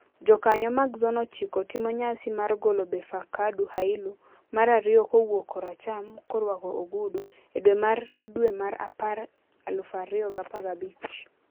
Jokanyo mag Zone ochiko timo nyasi mar golo Befeqadu Hailu (mar ariyo kowuok koracham, korwako ogudu) e dwe mar dwe mar apar 2015.